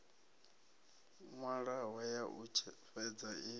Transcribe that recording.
nwalwaho ya u fhedza i